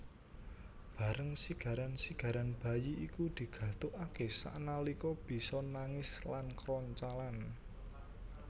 Bareng sigaran sigaran bayi iku digathukaké sanalika bisa nangis lan kroncalan